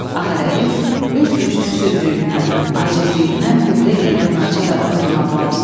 Ağarəhim öz gücsüzlüyündən, acizliyindən hövlə gələn naçar adam kimi ağlamısındı.